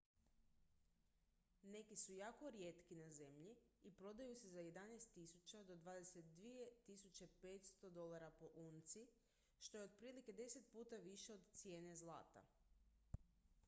neki su jako rijetki na zemlji i prodaju se za 11.000 do 22.500 usd po unci što je otprilike deset puta više od cijene zlata